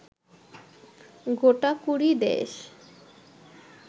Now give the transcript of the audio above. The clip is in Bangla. গোটাকুড়ি দেশ